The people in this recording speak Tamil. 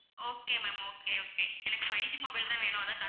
okay ma'am okay okay எனக்கு five G mobile தான் வேணும் அதான்